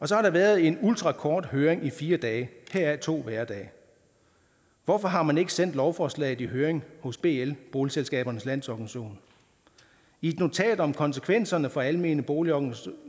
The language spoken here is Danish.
så har der været en ultrakort høring på fire dage heraf to hverdage hvorfor har man ikke sendt lovforslaget i høring hos bl boligselskabernes landsorganisation i et notat om konsekvenserne for almene boligorganisationer